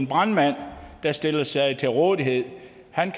brandmænd der stiller sig til rådighed